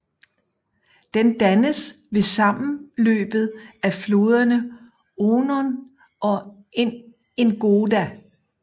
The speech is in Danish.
Den dannes ved sammenløbet af floderne Onon og Ingoda